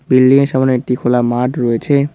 বিল্ডিংয়ের সামনে একটি খোলা মাঠ রয়েছে।